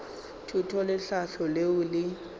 thuto le tlhahlo leo le